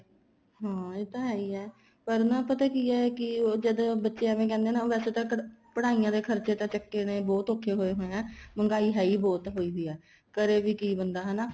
ਹਾਂ ਇਹ ਤਾਂ ਹੈਈ ਏ ਪਰ ਨਾ ਪਤਾ ਕੀ ਏ ਕੀ ਉਹ ਜਦ ਬੱਚੇ ਐਵੇਂ ਕਹਿੰਦੇ ਵੈਸੇ ਤਾਂ ਪੜ੍ਹਾਈਆਂ ਦੇ ਖਰਚੇ ਤਾਂ ਚੱਕਣੇ ਬਹੁਤ ਔਖੇ ਹੋਏ ਪਏ ਹੈ ਮਹਿੰਗਾਈ ਹੈਈ ਬਹੁਤ ਹੋਈ ਪਈ ਆ ਕਰੇ ਵੀ ਕੀ ਬੰਦਾ ਹਨਾ